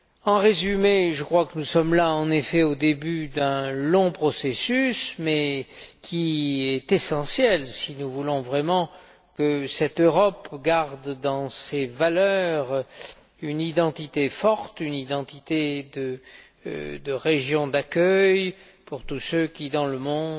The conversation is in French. En résumé, je crois que nous sommes au début d'un long processus, mais qui est essentiel si nous voulons vraiment que cette Europe garde dans ses valeurs une identité forte, une identité de région d'accueil pour tous ceux qui, dans le monde,